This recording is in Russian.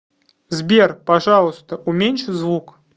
сбер пожалуйста уменьши звук